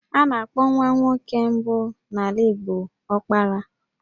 A na-akpọ nwa nwoke mbụ n'ala Igbo 'Ọkpara'.